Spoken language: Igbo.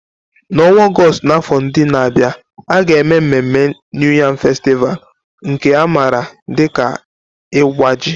N'ọnwa Ọgọst n'afọ ndị na-abịa, a ga-eme mmemme New Yam Festival, nke a maara dị ka Iwa Ji.